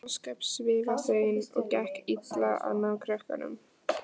Kata var ósköp svifasein og gekk illa að ná krökkunum.